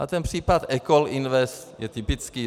A ten případ Ecoll Invest je typický.